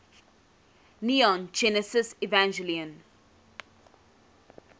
neon genesis evangelion